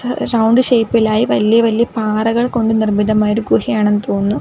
ഹ് റൗണ്ട് ഷേപ്പിലായി വല്യ വല്യ പാറകൾ കൊണ്ട് നിർമ്മിതമായ ഒരു ഗുഹയാണെന്ന് തോന്നുന്നു.